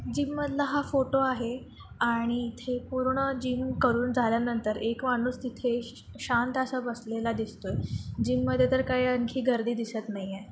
Gym मधला हा photo आहे आणि इथे पूर्ण जिम करून झाल्या नंतर एक माणूस इथे श शांत असा बसलेला दिसतोय. जिम मध्ये तर काही आणखी गर्दी दिसत नाहीये.